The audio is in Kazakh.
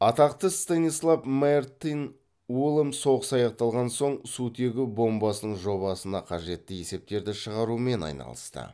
атақта станислав мартин улам соғыс аяқталған соң сутегі бомбасының жобасына қажетті есептерді шығарумен айналысты